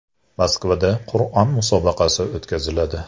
Moskvada Qur’on musobaqasi o‘tkaziladi.